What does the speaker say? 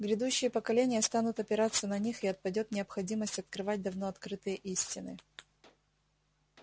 грядущие поколения станут опираться на них и отпадёт необходимость открывать давно открытые истины